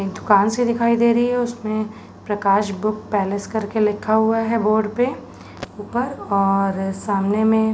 दुकान सी दिखाई दे रही हैं उसमें प्रकाश बुक पैलेस करके लिखा हुआ है बॉर्डर पे ऊपर और सामने में --